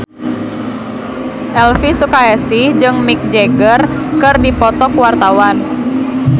Elvi Sukaesih jeung Mick Jagger keur dipoto ku wartawan